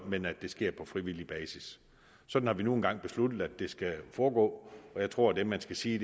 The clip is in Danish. men at det sker på frivillig basis sådan har vi nu engang besluttet at det skal foregå og jeg tror at man skal sige